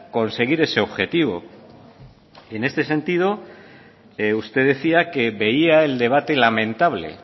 conseguir ese objetivo en este sentido usted decía que veía el debate lamentable